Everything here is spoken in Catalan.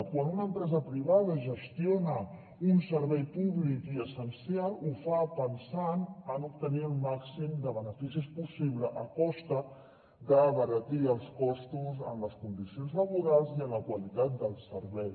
quan una empresa privada gestiona un servei públic i essencial ho fa pensant en obtenir el màxim de beneficis possibles a costa d’abaratir els costos en les condicions laborals i en la qualitat del servei